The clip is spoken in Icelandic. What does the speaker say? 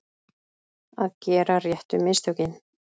Að gera réttu mistökin